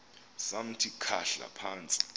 samthi khahla phantsi